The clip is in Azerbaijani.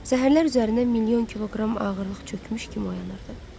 Səhərlər üzərinə milyon kiloqram ağırlıq çökmüş kimi oyanırdı.